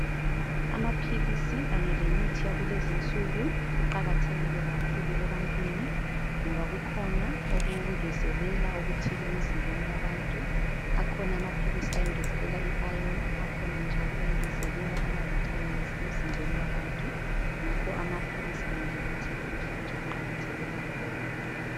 Amaphilisi Kanye lemithi yakulezinsuku kuqakathekile kakhulu ebantwini ngoba kukhona okungezelela okuthile emzimbeni yabantu akhona amaphilisi angezelela iayoni akhona njalo angezelela amavitamins emzimbeni yabantu ngakho amaphilisi kanye lemithi yanamhlanje kuqakatheke kakhulu.